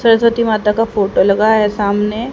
सरस्वती माता का फोटो लगा है सामने--